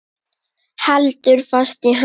Heldur fast í hönd hennar.